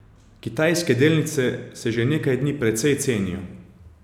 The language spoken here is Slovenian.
Kitajske delnice se že nekaj dni precej cenijo.